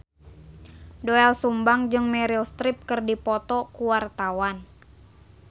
Doel Sumbang jeung Meryl Streep keur dipoto ku wartawan